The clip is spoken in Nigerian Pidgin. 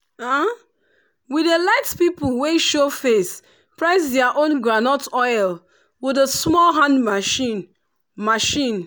we dey let pipu wey show face press their own groundnut oil with the small hand machine. machine.